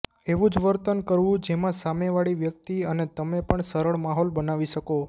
એવું જ વર્તન કરવું જેમાં સામે વળી વ્યક્તિ અને તમે પણ સરળ માહોલ બનાવી શકો